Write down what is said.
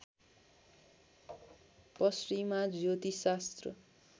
पश्चिमा ज्योतिषशास्त्र